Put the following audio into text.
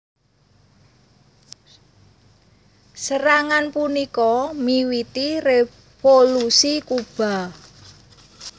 Serangan punika miwiti Revolusi Kuba